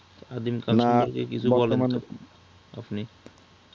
আদিম কাল এর সম্পর্কে কিছু বলেন আপনি